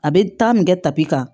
A bɛ taa min kɛ tapi kan